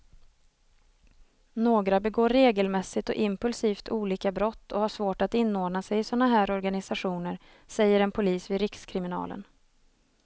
Några begår regelmässigt och impulsivt olika brott och har svårt att inordna sig i såna här organisationer, säger en polis vid rikskriminalen.